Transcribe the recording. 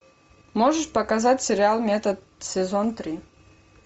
можешь показать сериал метод сезон три